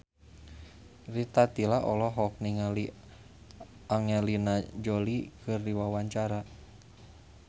Rita Tila olohok ningali Angelina Jolie keur diwawancara